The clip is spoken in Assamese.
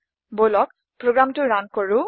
বলক প্ৰোগ্ৰামটো ৰান কৰো